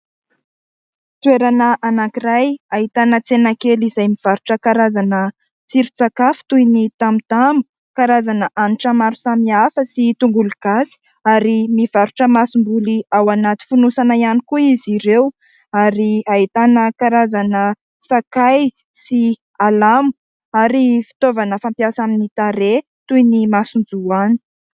Toerana anankiray hahitana tsena kely izay mivarotra karazana tsiro tsakafo toy ny tamotamo, karazana hanitra maro samy hafa sy tongolo-gasy, ary mivarotra masom-boly ao anaty finosana ihany koa izy ireo, ary hahitana karazana sakay sy alamo ary fitaovana fampiasa amin'ny tareha toy ny masonjoany.